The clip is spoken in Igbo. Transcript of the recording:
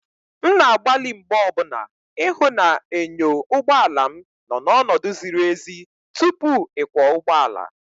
M na-agbalị mgbe niile ịhụ na enyo ụgbọ ala m nọ n'ọnọdụ ziri ezi tupu ịkwọ ụgbọala.